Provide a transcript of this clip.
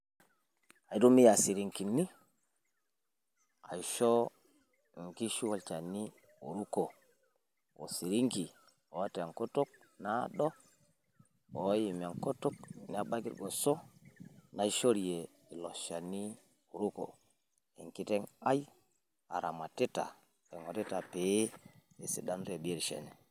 aitumia isirinkini aisho nkishu olchani oruku. osirinki oota enkutuk naado, oim enkutuk nebaiki irgoso, naishorie ilo shani oruko. enkiteng' ai aramatita pee esidanu te biotisho enye.